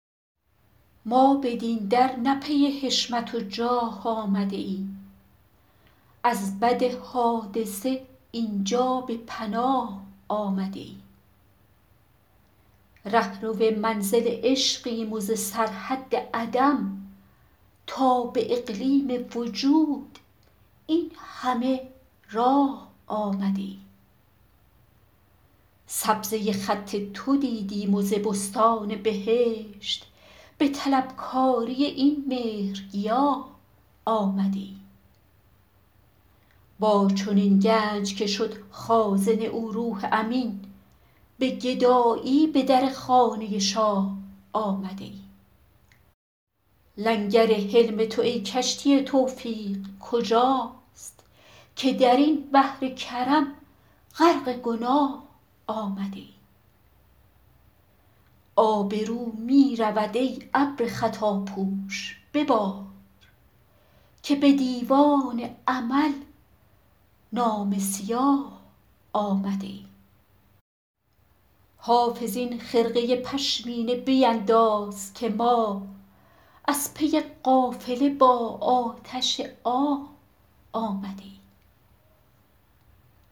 ما بدین در نه پی حشمت و جاه آمده ایم از بد حادثه این جا به پناه آمده ایم رهرو منزل عشقیم و ز سرحد عدم تا به اقلیم وجود این همه راه آمده ایم سبزه خط تو دیدیم و ز بستان بهشت به طلبکاری این مهرگیاه آمده ایم با چنین گنج که شد خازن او روح امین به گدایی به در خانه شاه آمده ایم لنگر حلم تو ای کشتی توفیق کجاست که در این بحر کرم غرق گناه آمده ایم آبرو می رود ای ابر خطاپوش ببار که به دیوان عمل نامه سیاه آمده ایم حافظ این خرقه پشمینه بینداز که ما از پی قافله با آتش آه آمده ایم